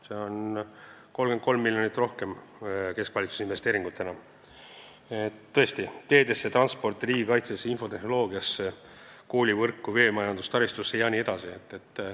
See tähendab 33 miljonit rohkem keskvalitsuse investeeringuid, mis lähevad teedesse, transporti, riigikaitsesse, infotehnoloogiasse, koolivõrku, veemajanduse taristusse jne.